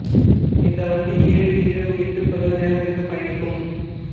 இந்த வண்டி ஏழு இரவு எட்டு பகல் நேரத்துக்கு பயணிக்கும்